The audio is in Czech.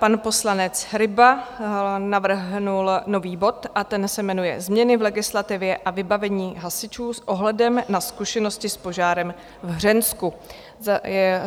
Pan poslanec Ryba navrhl nový bod a ten se jmenuje Změny v legislativě a vybavení hasičů s ohledem na zkušenosti s požárem v Hřensku.